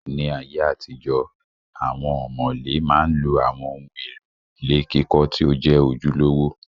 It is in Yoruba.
Ní ayé àtijọ, awọn ọ̀mọ̀lé ma ń lo àwọn ohun èlò ilé kíkọ́ tí ó jẹ́ ojúlówó